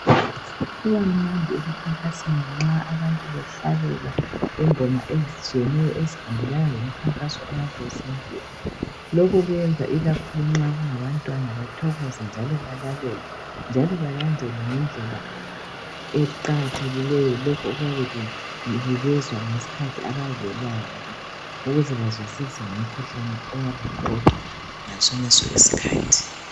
Kubammamdi emkhamkasweni nxa abantu behlabela ingoma ezitshiyeneyo ezihambelana. lomkhankaso oyabe usenziwa .Lokhu kwenza ikakhulu nxa kungabantwana bathokoze njalo balalele .Njalo balandele ngendlela eqakathekileyo lokho okuyabe kubukezwa ngesikhathi abayabe belaywa ngakho .Ukuze bazwisise ngomkhuhlane oyabe umqoka ngasoneso iskhathi .